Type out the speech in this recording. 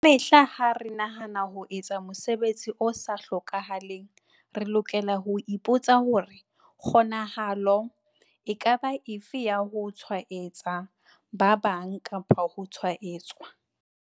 Kamehla ha re nahana ka ho etsa mosebetsi o sa hlokeheng, re lokela ho ipo tsa hore- kgonahalo e ka ba efe ya ho tshwaetsa ba bang kapa ho tshwaetswa?